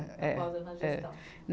Eh, eh, Na gestão.